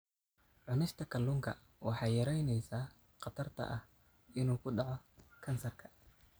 Cunista kalluunka waxay yaraynaysaa khatarta ah inuu ku dhaco kansarka.